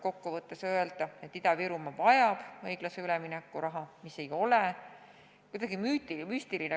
Kokkuvõttes tuleb öelda, et Ida-Virumaa vajab õiglase ülemineku raha, mis ei ole kuidagi müstiline.